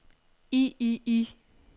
i i i